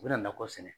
U bɛ nakɔ sɛnɛ